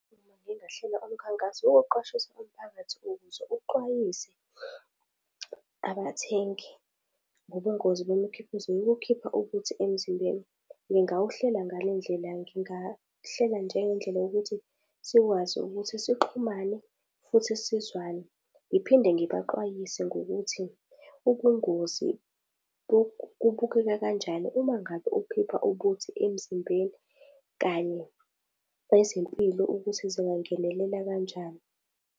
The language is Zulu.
Uma ngingahlela umkhankaso wokuqwashisa umphakathi ukuze uxwayise abathengi ngobungozi bemikhiqizo bokukhipha ubuthi emzimbeni. Ngingawuhlela ngale ndlela, ngingahleli njengendlela yokuthi sikwazi ukuthi sixhumane futhi sizwane ngiphinde sibaxwayise ngokuthi ubungozi kubukeka kanjani uma ngabe ukukhipha ubuthi emzimbeni kanye nezempilo ukuthi zingangenelela kanjani.